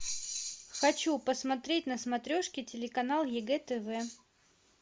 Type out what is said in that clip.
хочу посмотреть на смотрешке телеканал егэ тв